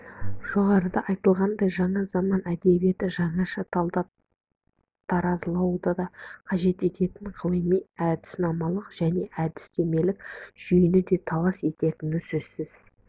жоғарыда айтылғандай жаңа заман әдебиеті жаңаша талдап-таразылауды қажет ететін ғылыми әдіснамалық және әдістемелік жүйені де талап ететіні сөзсіз